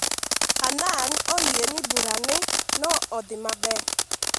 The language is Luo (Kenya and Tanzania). Hannan oyie ni bura ne odhi maber